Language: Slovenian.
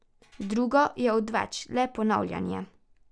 Drugo je odveč, le ponavljanje.